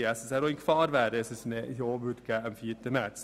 Dieser wäre in Gefahr, wenn am 4. März ein Ja resultieren würde.